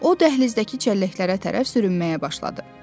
O dəhlizdəki çəlləklərə tərəf sürünməyə başladı.